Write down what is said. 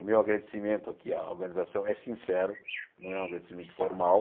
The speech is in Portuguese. O meu agradecimento aqui à organização é sincero, não é um agradecimento formal.